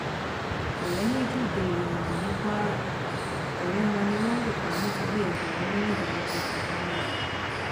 ọrẹ méjì dèrò ẹwọn ní kwara ọrẹ wọn ni wọn lù pa nítorí ẹgbẹrún mẹrìndínlọgọta náírà